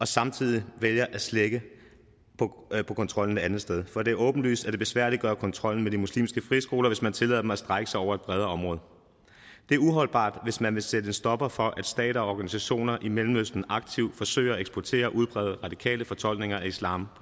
samtidig vælger at slække på kontrollen et andet sted for det er åbenlyst at det besværliggør kontrollen med de muslimske friskoler hvis man tillader dem at strække sig over et bredere område det er uholdbart hvis man vil sætte en stopper for at stater og organisationer i mellemøsten aktivt forsøger at eksportere og udbrede radikale fortolkninger af islam